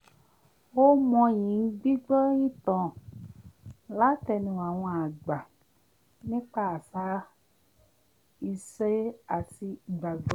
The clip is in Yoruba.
ó mọyì gbígbọ́ ìtàn látẹnu àwọn àgbà nípa àṣà ìṣe àti ìgbàgbọ́